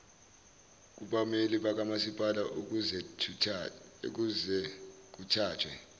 kubameli bakamasipala ukuzekuthathwe